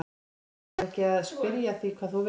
Heimir: Það er ekki að spyrja að því hvað þú vilt?